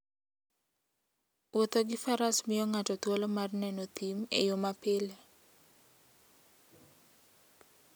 Wuotho gi faras miyo ng'ato thuolo mar neno thim e yo mapile.